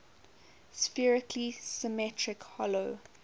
spherically symmetric hollow